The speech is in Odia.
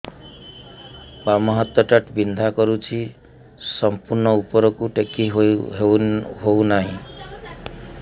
ବାମ ହାତ ଟା ବିନ୍ଧା କରୁଛି ସମ୍ପୂର୍ଣ ଉପରକୁ ଟେକି ହୋଉନାହିଁ